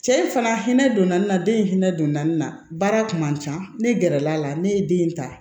Cɛ in fana hinɛ donna nin na den in hinɛ donna nin na baara kun man ca ne gɛrɛl'a la ne ye den in ta